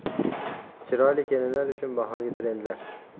Chiroyli kelinlar uchun bahorgi trendlar.